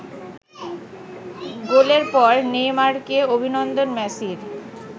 গোলের পর নেইমারকে অভিনন্দন মেসির